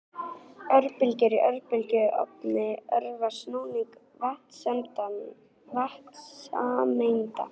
Örbylgjur í örbylgjuofni örva snúning vatnssameinda.